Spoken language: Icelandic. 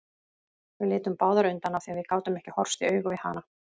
Við litum báðar undan af því að við gátum ekki horfst í augu við hana.